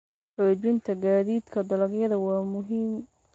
Xoojinta gaadiidka dalagyada waa muhiim.